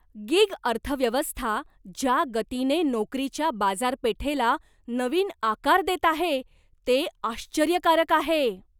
Gig अर्थव्यवस्था ज्या गतीने नोकरीच्या बाजारपेठेला नवीन आकार देत आहे ते आश्चर्यकारक आहे.